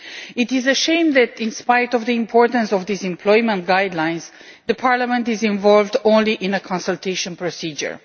It is a shame that, in spite of the importance of these employment guidelines, Parliament is involved only in a consultation procedure.